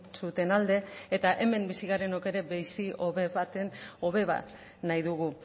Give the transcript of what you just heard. zuten alde eta hemen bizi garenok ere bizi hobe bat nahi dugu